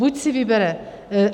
Buď si vybere...